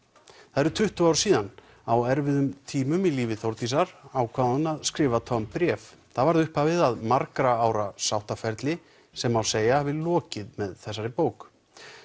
það eru tuttugu ár síðan á erfiðum tíma í lífi Þórdísar ákvað hún að skrifa Tom bréf það varð upphafið að margra ára sáttaferli sem má segja að hafi lokið með þessari bók